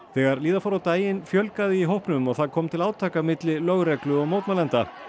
þegar líða fór á daginn fjölgaði í hópnum og það kom til átaka milli lögreglu og mótmælenda